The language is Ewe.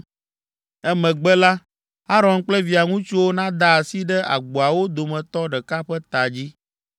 “Emegbe la, Aron kple via ŋutsuwo nada asi ɖe agboawo dometɔ ɖeka ƒe ta dzi,